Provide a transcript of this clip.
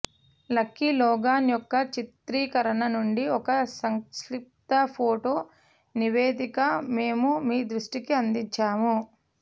lucky Logan యొక్క చిత్రీకరణ నుండి ఒక సంక్షిప్త ఫోటో నివేదిక మేము మీ దృష్టికి అందించాము